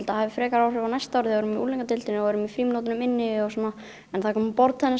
hafi frekar áhrif á næsta ári þegar við erum unglingadeildinni og erum í frímínútunum inni og svona en það er komið borðtennis